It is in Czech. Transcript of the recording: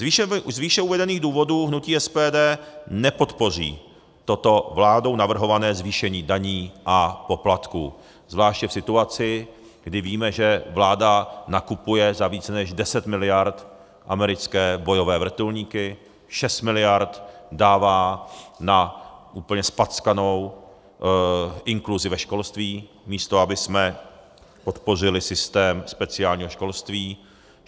Z výše uvedených důvodů hnutí SPD nepodpoří toto vládou navrhované zvýšení daní a poplatků, zvláště v situaci, kdy víme, že vláda nakupuje za více než 10 miliard americké bojové vrtulníky, 6 miliard dává na úplně zpackanou inkluzi ve školství, místo abychom podpořili systém speciálního školství.